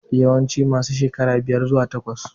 Yawanci masu shekara biyar zuwa takwas